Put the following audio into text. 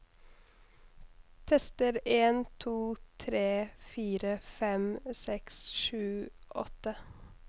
Tester en to tre fire fem seks sju åtte